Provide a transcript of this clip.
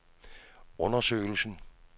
undersøgelsen